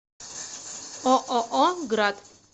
ооо град